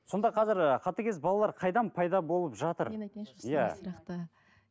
сонда қазір ы қатыгез балалар қайдан пайда болып жатыр